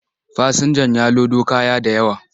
Fasinjan ya lodo kaya da yawa,